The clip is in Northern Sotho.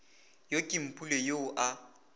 yo ke mpule yoo a